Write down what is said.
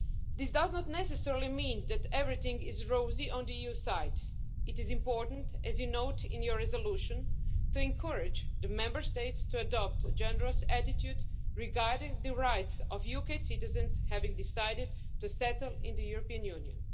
This does not necessarily mean that everything is rosy on the EU side. It is important, as you note in your resolution, to encourage the Member States to adopt a generous attitude regarding the rights of UK citizens having decided to settle in the European Union.